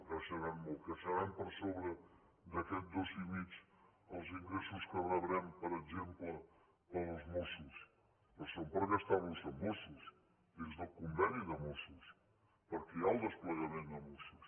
creixeran molt creixeran per sobre d’aquest dos i mig els ingressos que rebrem per exemple per als mossos però són per gastar los amb mossos dins del conveni de mossos perquè hi ha el desplegament de mossos